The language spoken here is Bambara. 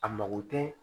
A mago tɛ